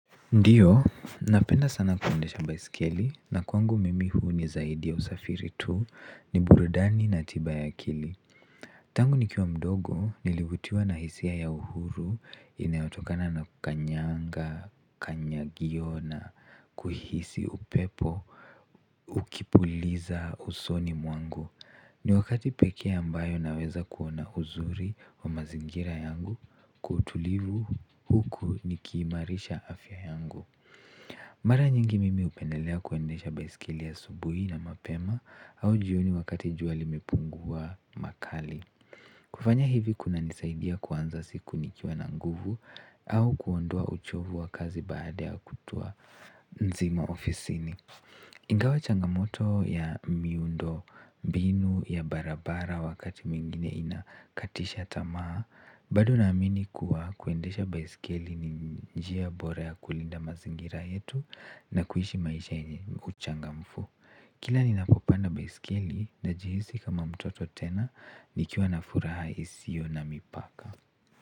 Ndiyo, napenda sana kuendesha baiskeli na kwangu mimi huu ni zaidi ya usafiri tu ni burudani na tiba ya akili. Tangu nikiwa mdogo nilivutiwa na hisia ya uhuru inayotokana na kukanyanga kanyagio na kuhisi upepo ukipuliza usoni mwangu. Ni wakati pekee ambayo naweza kuona uzuri wa mazingira yangu kwa utulivu huku nikiimarisha afya yangu. Mara nyingi mimi hupendelea kuendesha baiskeli asubuhi na mapema au jioni wakati jua limepungua makali. Kufanya hivi kunanisaidia kuanza siku nikiwa na nguvu au kuondoa uchovu wa kazi baada ya kutwa nzima ofisini. Ingawa changamoto ya miundombinu ya barabara wakati mwingine inakatisha tamaa bado naamini kuwa kuendesha baiskeli ni njia bora ya kulinda mazingira yetu na kuishi maisha yenye uchangamfu. Kila ninapopanda baiskeli najihisi kama mtoto tena nikiwa na furaha isiyo na mipaka.